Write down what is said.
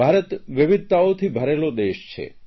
ભારત વિવિધતાઓથી ભરેલો દેશ છે